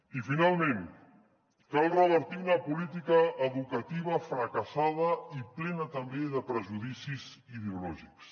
i finalment cal revertir una política educativa fracassada i plena també de prejudicis ideològics